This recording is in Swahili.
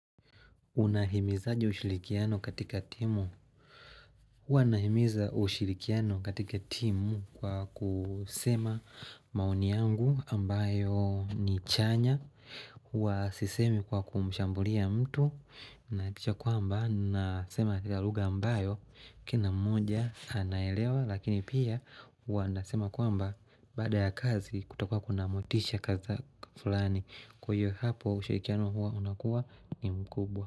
Unahimizaje ushirikiano katika timu? Huwa nahimiza ushirikiano katika timu kwa kusema maoni yangu ambayo ni chanya. Huwa sisemi kwa kumshambulia mtu. Nahakikisha kwamba, nasema katika lugha ambayo kina mmoja anaelewa. Lakini pia huwa nasema kwamba baada ya kazi kutakua kuna motisha kaza fulani. Kwa hiyo hapo ushirikiano huwa unakuwa ni mkubwa.